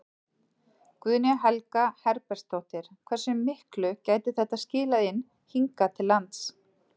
Guðný Helga Herbertsdóttir: Hversu miklu gæti þetta skilað inn hingað til lands?